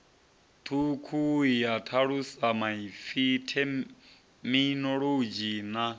thukhu ya thalusamaipfi theminolodzhi na